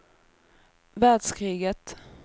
världskriget